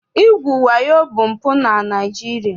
Igwu wayo bụ mpụ na Naịjirịa.